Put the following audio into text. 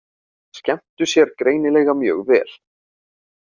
Skemmtu sér greinilega mjög vel.